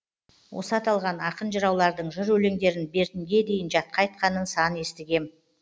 осы аталған ақын жыраулардың жыр өлеңдерін бертінге дейін жатқа айтқанын сан естігем